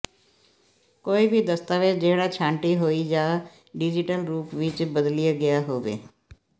ਕੋਈ ਵੀ ਦਸਤਾਵੇਜ ਜਿਹੜਾ ਛਾਂਟੀ ਹੋਈ ਜਾਂ ਡਿਜੀਟਲ ਰੂਪ ਵਿਚ ਬਦਲਿਆ ਗਿਆ ਹੋਵੇ